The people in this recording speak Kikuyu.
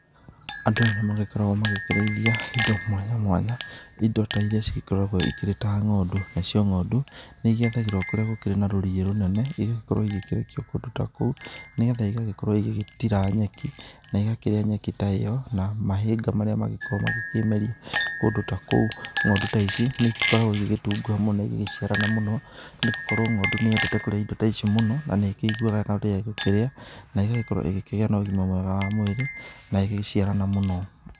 Andũ nĩmakoragũo magĩkĩrĩithia indo mwanya mwanya, indo ta iria cigĩkoragũo ikĩrĩ ta ng'ondu, nacio ng'ondu, nĩigĩathagĩrũo kũrĩa gũkĩrĩ na rũriĩ rũnene, igagĩkorũo igĩgĩikio kũndũ ta kũu, nĩgetha igagĩkorũo igĩgĩtira nyeki, na igakĩrĩa nyeki ta ĩyo, na mahĩnga marĩa magĩkoragũo magĩkĩmerio, kũndũ ta kũu. Ng'ondu ta ici, nĩigĩkoragũo igĩgĩtunguha mũno na igagĩciarana mũno, nĩgũkorũo ng'ondu nĩyendete kũrĩa indo ta icio mũno, na nĩĩkĩiguaga wega mũno rĩrĩa igũkĩrĩa, na ĩgakorũo ĩgĩkĩgĩa na ũgima mwega wa mwĩrĩ, na igagĩciarana mũno.